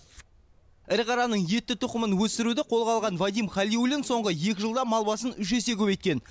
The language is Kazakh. ірі қараның етті тұқымын өсіруді қолға алған вадим халиуллин соңғы екі жылда мал басын үш есе көбейткен